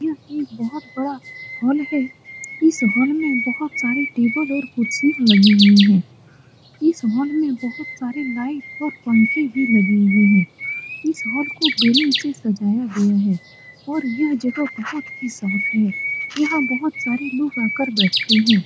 यह एक बहुत बड़ा हॉल है इस हॉल में बहुत सारी टेबल और कुर्सी लगी हुई हैं इस हॉल में बहुत सारे लाइट और पंखे भी लगे हुए हैं इस हॉल को बलुन से सजाया गया है और यह जगह बहुत ही साफ है यहाँ बहुत सारे लोग आकर बैठते हैं ।